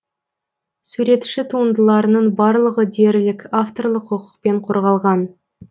суретші туындыларының барлығы дерлік авторлық құқықпен қорғалған